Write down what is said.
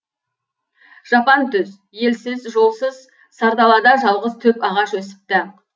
жапан түз елсіз жолсыз сардалада жалғыз түп ағаш өсіпті